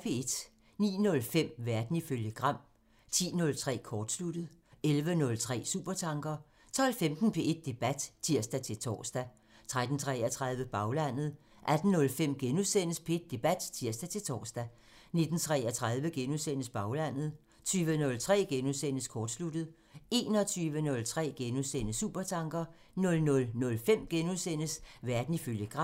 09:05: Verden ifølge Gram (tir) 10:03: Kortsluttet (tir) 11:03: Supertanker (tir) 12:15: P1 Debat (tir-tor) 13:33: Baglandet (tir) 18:05: P1 Debat *(tir-tor) 19:33: Baglandet *(tir) 20:03: Kortsluttet *(tir) 21:03: Supertanker *(tir) 00:05: Verden ifølge Gram *(tir)